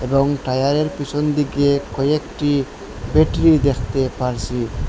এবং টায়ারের পিছন দিকে কয়েকটি বেটরি দেখতে পারছি।